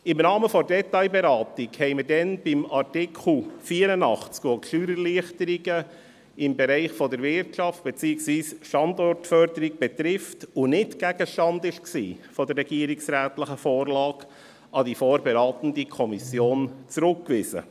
Im Rahmen der Detailberatung hatten wir damals den Artikel 84, der die Steuererleichterungen im Bereich der Wirtschaft beziehungsweise die Standortförderung betrifft und nicht Gegenstand der regierungsrätlichen Vorlage war, an die vorberatende Kommission zurückgewiesen.